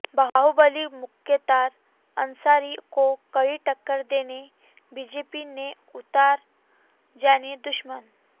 बाहुबली मुख्तार अंसारी को कड़ी टक्कर देने बीजेपी ने उतारा जानी दुश्मन